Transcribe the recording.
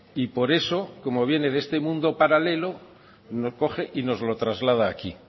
y por eso como viene de este mundo paralelo lo coge y nos lo traslada aquí